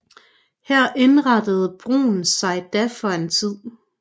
Her indrettede Bruun sig da for en tid